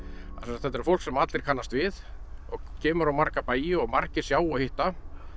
þetta er fólk sem allir kannast við og kemur á marga bæi og margir sjá og hitta